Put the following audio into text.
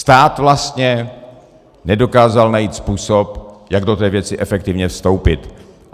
Stát vlastně nedokázal najít způsob, jak do té věci efektivně vstoupit.